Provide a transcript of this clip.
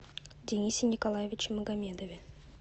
денисе николаевиче магомедове